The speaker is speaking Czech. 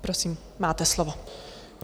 Prosím, máte slovo.